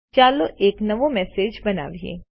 ચાલો એક નવો મેસેજ બનાવીએ